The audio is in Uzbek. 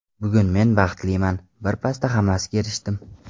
Bugun men baxtliman, bir pasda hammasiga erishdim.